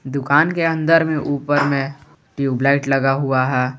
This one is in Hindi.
दुकान के अंदर में ऊपर में ट्यूबलाइट लगा हुआ है।